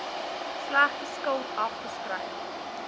slegte skuld afgeskryf